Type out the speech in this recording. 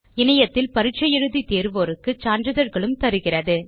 இணையத்தில் பரிட்சை எழுதி தேர்வோருக்கு சான்றிதழ்களும் தருகிறது